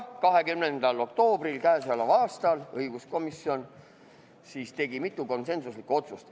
20. oktoobril k.a tegi õiguskomisjon mitu konsensuslikku otsust.